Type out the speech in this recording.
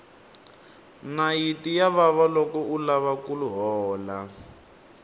nayiti ya vava loko u lava ku hola